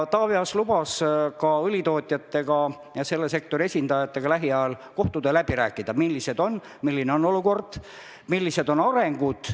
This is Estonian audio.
Taavi Aas lubas õlitootjatega ja üldse selle sektori esindajatega lähiajal kohtuda ja läbi rääkida, milline on olukord, millised on arengud.